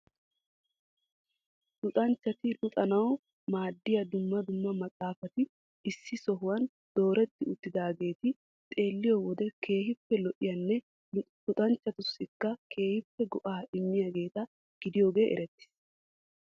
luxanchchati luxanawu maaddiya dumma dumma maxaafati issi sohuwaan dooreti uttidaageeti xeeliyo wode keehippe lo''iyaane luxanchchatussikka keehippe go''a immiyaageeta gidiyoogee erettees.